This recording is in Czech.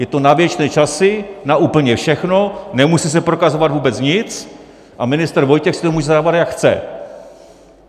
Je to na věčné časy, na úplně všechno, nemusí se prokazovat vůbec nic a ministr Vojtěch si to může zadávat, jak chce.